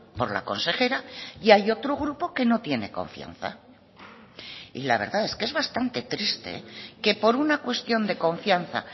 por la consejera y hay otro grupo que no tiene confianza y la verdad es que es bastante triste que por una cuestión de confianza